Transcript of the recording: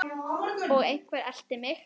Og einhver elti mig.